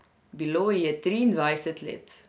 Bilo ji je triindvajset let.